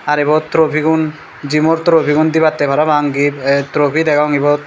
har ibot trophy gun gym o trophy gun dibatte parapang gift trophy degong ibot.